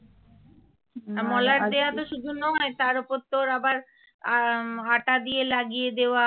মলাট দেওয়া শুধু তো নয় তার ওপর আবার আঠা দিয়ে লাগিয়ে দেওয়া